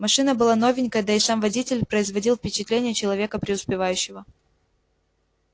машина была новенькая да и сам водитель производил впечатление человека преуспевающего